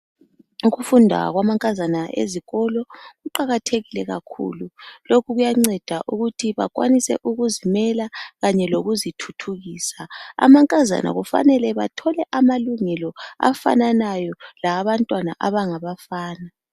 ukufunda kwamankazana ezikolo kuqakathekile kakhulu lokhu kuya nceda ukuthi bakwanise ukuzimela kanye lokuzithuthukisa amankazana kufanele bathole amalungelo afananayo lawabantwana abangabafana